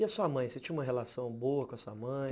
E a sua mãe, você tinha uma relação boa com a sua mãe?